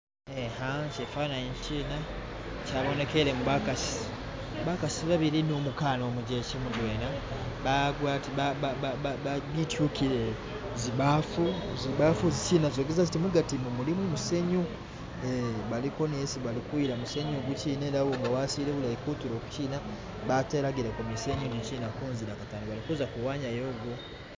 eha kyifanani kyina kyabonekelemo bakasi, bakasi babili ni umukana umujekye mudwena bityukile zibafu, zibabufu izikyina zogesa ziti mugati mu mulimo musenyu baliko niyesi balikuyila musenyu igukyina nga wasile bulayi iya kutulo kukyina batelagile ko musenyu gukyina kunzila katano balikuza kuwanya gwo